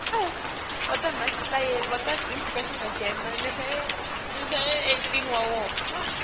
emaphutsa elulwimi nemlayeto